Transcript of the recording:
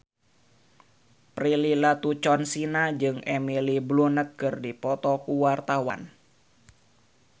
Prilly Latuconsina jeung Emily Blunt keur dipoto ku wartawan